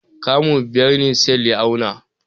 Kamu biyar ne Sale ya auna.